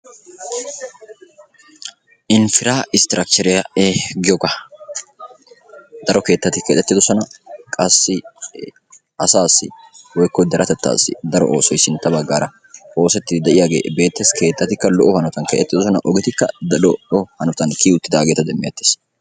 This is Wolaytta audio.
Infiraa istrakcheriya giyogaa; daro keettaati keexetidosona qassi asaasi woykko deretettaasi daro oosoy sintta baggaara oosetidi de'iyagee beettes. keettatti lo'o hanatan keexetidosona ogeti daro lo'o hanatan kiyi uttidageeta demmeettes.